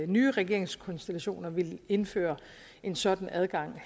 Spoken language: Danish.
nye regeringskonstellationer vil indføre en sådan adgang